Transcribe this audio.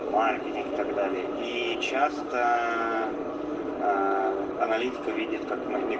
так далее и часто аналитика видит как мы